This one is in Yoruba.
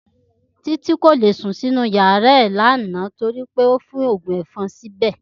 Títí kò lè sùn sínú yàrá rè lánàá torí pé ó tí fín ògùn èfon síbè